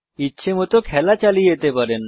ইচ্ছেমত খেলা চালিয়ে যেতে পারেন